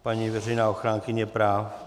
Paní veřejná ochránkyně práv?